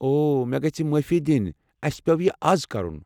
اوہ، مےٚ گژھہِ معٲفی دِنہِ اسہِ پیٚو یہِ از کرُن۔